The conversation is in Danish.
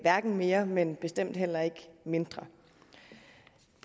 mere men bestemt heller ikke mindre